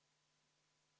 V a h e a e g